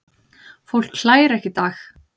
Fólk hlær ekki í dag.